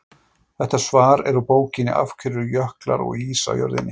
Þetta svar er úr bókinni Af hverju eru jöklar og ís á jörðinni?